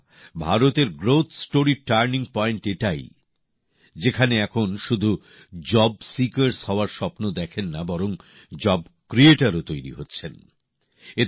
বন্ধুরা ভারতের উন্নয়নের টার্নিং পয়েন্ট এটাই যেখানে এখন শুধু কর্মপ্রার্থী হওয়ার স্বপ্ন দেখেন না বরং কর্ম সংস্থানও তৈরি করছেন